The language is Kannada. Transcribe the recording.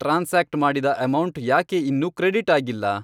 ಟ್ರಾನ್ಸಾಕ್ಟ್ ಮಾಡಿದ ಅಮೌಂಟ್ ಯಾಕೆ ಇನ್ನೂ ಕ್ರೆಡಿಟ್ ಆಗಿಲ್ಲ?